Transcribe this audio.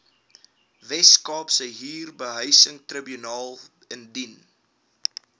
weskaapse huurbehuisingstribunaal indien